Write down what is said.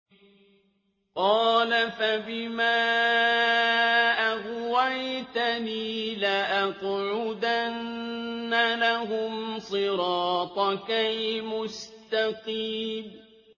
قَالَ فَبِمَا أَغْوَيْتَنِي لَأَقْعُدَنَّ لَهُمْ صِرَاطَكَ الْمُسْتَقِيمَ